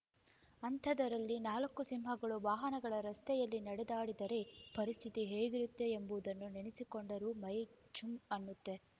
ಅಂಥದರಲ್ಲಿ ನಾಲ್ಕು ಸಿಂಹಗಳು ವಾಹನಗಳ ರಸ್ತೆಯಲ್ಲಿ ನಡೆದಾಡಿದರೆ ಪರಿಸ್ಥಿತಿ ಹೇಗಿರುತ್ತೆ ಎಂಬುದನ್ನು ನೆನೆಸಿಕೊಂಡರೂ ಮೈ ಜುಂ ಅನ್ನುತ್ತೆ